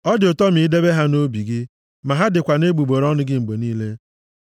Ọ dị ụtọ ma idebe ha nʼobi gị, ma ha dịkwa nʼegbugbere ọnụ gị mgbe niile.